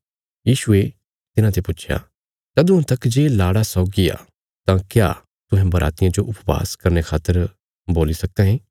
यीशुये तिन्हाते पुच्छया तदुआं तक जे लाड़ा सौगी आ तां क्या तुहें बरातियां जो उपवास करने खातर बोल्ली सक्का ये